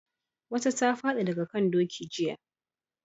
Wata ta fadi daga kan doki jiya